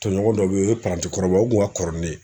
Tɔɲɔgɔn dɔ bɛ yen o ye parantikɔrɔbaw o tun ka kɔrɔ ni ne ye